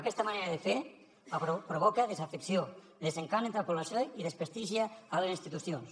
aquesta manera de fer provoca desafecció desencant entre la població i desprestigia les institucions